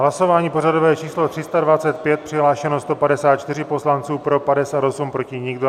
Hlasování pořadové číslo 325, přihlášeno 154 poslanců, pro 58, proti nikdo.